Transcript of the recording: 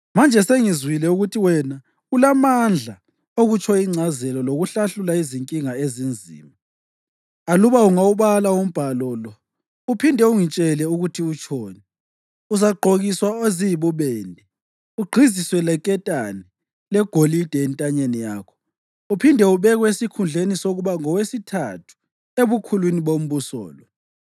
Manje sengizwile ukuthi wena ulamandla okutsho ingcazelo lokuhlahlula izinkinga ezinzima. Aluba ungawubala umbhalo lo uphinde ungitshele ukuthi utshoni, uzagqokiswa eziyibubende, ugqiziswe leketane legolide entanyeni yakho, uphinde ubekwe esikhundleni sokuba ngowesithathu ebukhulwini bombuso lo.”